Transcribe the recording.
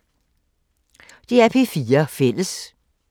DR P4 Fælles